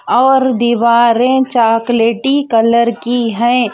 और दीवारे चोकलेटी कलर की हे.